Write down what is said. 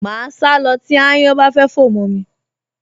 Màá sá lọ tí ááyán bá fẹ́ fò mọ́ mi